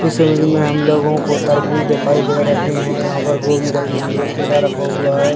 इस इमेज में हमलोगों को तरबूज़ दिखाई दे रही है यहाँ पर गोभी रखी हुई है केला रखा हुआ है।